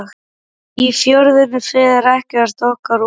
Í Fjörðinn fer ekkert okkar oftar.